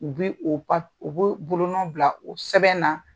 U bi o u b'o bolonun bila o sɛbɛn na.